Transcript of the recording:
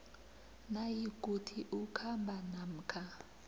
nayikuthi ukhamba namkha